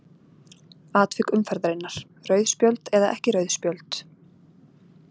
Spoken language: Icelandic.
Atvik umferðarinnar:- Rauð spjöld eða ekki rauð spjöld?